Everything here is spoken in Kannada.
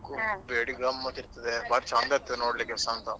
ಅವ ಹೇಳ್ತಿದ್ದ Kumble ಬೇಡಿ ಗಮ್ಮತ್ ಇರ್ತದೆ ಬಾರಿ ಚಂದ ಇರ್ತದೆ ನೋಡ್ಲಿಕ್ಕೆಸಾ ಅಂತ.